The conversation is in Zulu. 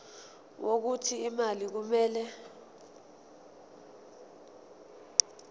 wokuthi imali kumele